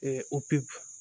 opere